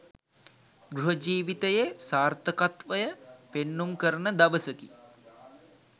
ගෘහ ජීවිතයේ සාර්ථකත්වය පෙන්නුම් කරන දවසකි